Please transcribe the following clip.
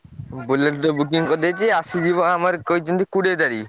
Bullet ଗୋଟେ booking କରିଦେଇଚି ଆସିଯିବ ଆମର କହିଛନ୍ତି କୋଡିଏ ତାରିଖ୍।